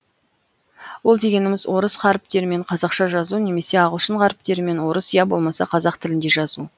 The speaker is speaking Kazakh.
ол дегеніміз орыс харіптерімен қазақша жазу немесе ағылшын харіптерімен орыс я болмаса қазақ тілінде жазу